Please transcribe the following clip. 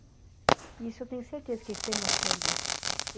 E isso eu tenho certeza que eles têm noção disso.